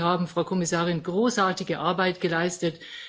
Ich finde, Sie haben, Frau Kommissarin, großartige Arbeit geleistet.